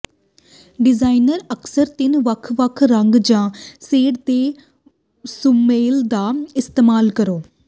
designer ਅਕਸਰ ਤਿੰਨ ਵੱਖ ਵੱਖ ਰੰਗ ਜ ਸ਼ੇਡ ਦੇ ਸੁਮੇਲ ਦਾ ਇਸਤੇਮਾਲ ਕਰੋ